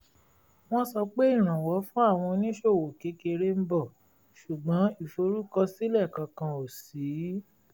wọ́n sọ pé ìrànwọ́ fún àwọn oníṣòwò kékeré ń bọ̀ ṣùgbọ́n ìforúkọsílẹ̀ kankan ò ṣí